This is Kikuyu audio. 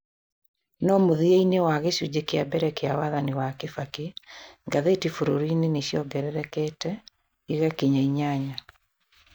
No mũthia-inĩ wa gĩcunjĩ kĩa mbere kĩa wathani wa Kibaki, ngathĩti bũrũri-inĩ nĩ ciongererekete igakinya inyanya.